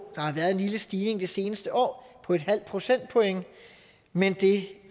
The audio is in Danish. har været en lille stigning det seneste år på en halv procentpoint men det